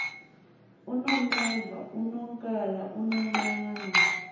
unomeva unonkala unonqane